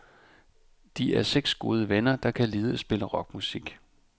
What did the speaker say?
De er seks gode venner, der kan lide at spille rockmusik.